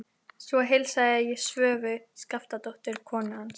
Svo heilsaði ég Svövu Skaftadóttur, konu hans.